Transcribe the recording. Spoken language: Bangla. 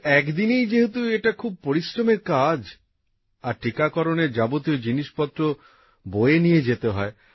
কিন্তু এক দিনেই যেহেতু এটা খুব পরিশ্রমের কাজ আর টিকারকরণের যাবতীয় জিনিসপত্র বয়ে নিয়ে যেতে হয়